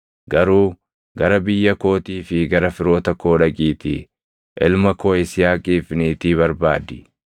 garuu gara biyya kootii fi gara firoota koo dhaqiitii ilma koo Yisihaaqiif niitii barbaadi.”